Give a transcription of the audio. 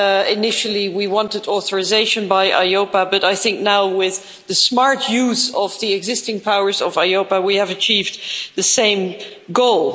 Initially we wanted authorisation by EIOPA but I think that now, with the smart use of the existing powers of EIOPA, we have achieved the same goal.